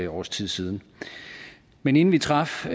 års tid siden men inden vi traf